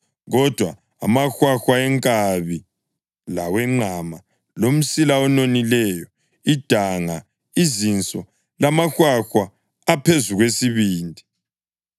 Kodwa amahwahwa enkabi lawenqama, lomsila ononileyo, idanga, izinso, lamahwahwa aphezu kwesibindi